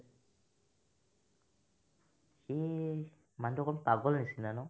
সি মানহতো অকমান পাগল নিচিনা ন